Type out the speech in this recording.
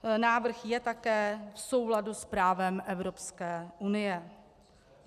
Návrh je také v souladu s právem Evropské unie.